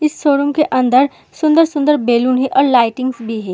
इस शोरूम के अंदर सुन्दर-सुन्दर बेलून हैं और लाइटिंग भी है।